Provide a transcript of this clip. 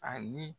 Ani